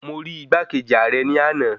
Mo rí igbákejì ààrẹ ní ana